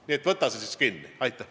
Nii et võta sa siis kinni!